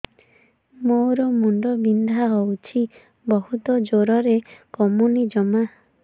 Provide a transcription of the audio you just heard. ମୋର ମୁଣ୍ଡ ବିନ୍ଧା ହଉଛି ବହୁତ ଜୋରରେ କମୁନି ଜମା